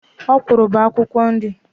Okwụrụ bụ akwukwo nri.